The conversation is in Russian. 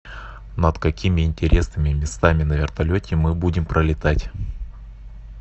над какими интересными местами на вертолете мы будем пролетать